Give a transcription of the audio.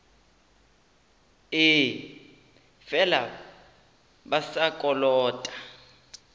ee fela ba sa kolota